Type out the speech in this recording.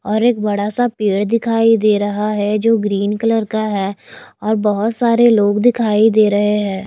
और एक बड़ा सा पेड़ दिखाई दे रहा है जो ग्रीन कलर का है और बहुत सारे लोग दिखाई दे रहे हैं।